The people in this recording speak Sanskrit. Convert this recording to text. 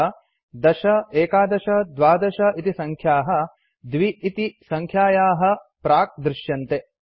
अतः १० ११ १२ इति सङ्ख्याः २ इति सङ्ख्यायाः प्राक्दृश्यन्ते